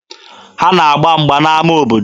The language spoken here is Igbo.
Ha na-agba mgba n'ama obodo.